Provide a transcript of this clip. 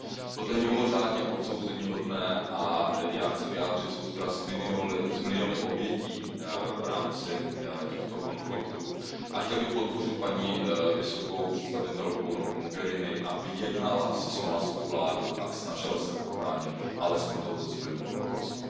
Toto je mimořádně odsouzeníhodné a já chci vyjádřit soustrast s miliony obětí v rámci těchto konfliktů a chtěl bych podpořit paní vysokou představitelku Mogheriniovou, aby jednala se somálskou vládou a snažila se ochránit alespoň to civilní obyvatelstvo.